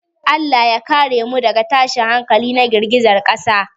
Allah ya kare mu daga tashin hankali na girgizar ƙasa.